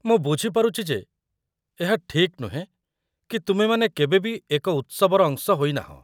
ମୁଁ ବୁଝିପାରୁଛି ଯେ ଏହା ଠିକ୍ ନୁହେଁ କି ତୁମେମାନେ କେବେ ବି ଏକ ଉତ୍ସବର ଅଂଶ ହୋଇନାହଁ ।